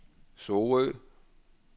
Sorø